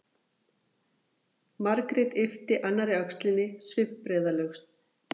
Margrét yppti annarri öxlinni svipbrigðalaus.